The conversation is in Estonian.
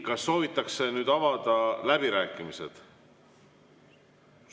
Kas soovitakse avada läbirääkimisi?